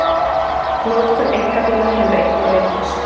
Notkun einkabíla hefur einnig aukist